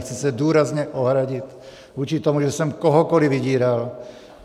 Chci se důrazně ohradit vůči tomu, že jsem kohokoli vydíral.